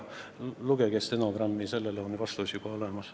Lugege stenogrammi: sellele küsimusele on vastus juba olemas.